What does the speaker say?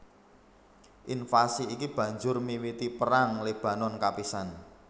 Invasi iki banjur miwiti Perang Libanon kapisan